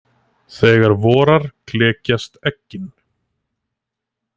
Þegar vorar klekjast eggin.